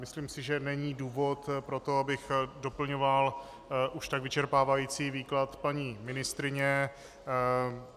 Myslím si, že není důvod pro to, abych doplňoval už tak vyčerpávající výklad paní ministryně.